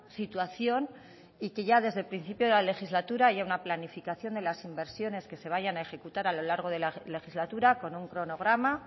situación y que ya desde el principio de la legislatura haya una planificación de las inversiones que se vayan a ejecutar a lo largo de la legislatura con un cronograma